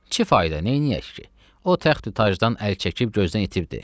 Nə fayda, neyləyək ki, o təxti tacdan əl çəkib gözdən itibdir.